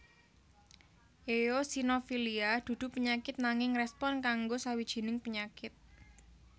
Eosinofilia dudu penyakit nanging respon kanggo sawijining penyakit